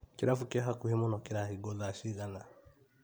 Kĩrabu kĩa hakuhĩ mũno kĩrahingwo thaa cigana?